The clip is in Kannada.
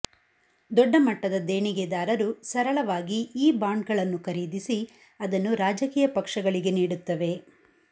ದೊಡ್ಡಮಟ್ಟದ ದೇಣಿಗೆದಾರರು ಸರಳವಾಗಿ ಈ ಬಾಂಡ್ಗಳನ್ನು ಖರೀದಿಸಿ ಅದನ್ನು ರಾಜಕೀಯ ಪಕ್ಷಗಳಿಗೆ ನೀಡುತ್ತವೆ